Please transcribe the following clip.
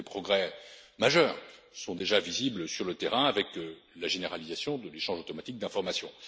Des progrès majeurs sont déjà visibles sur le terrain, avec la généralisation de l'échange automatique d'informations.